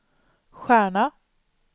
stjärna